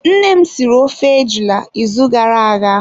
Nne m siri ofe ejula ịzụ gara aga.